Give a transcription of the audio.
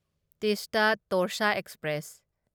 Teesta Torsa express